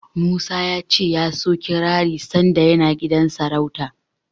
Musa ya ce ya so kirari sanda yana gidan sarauta.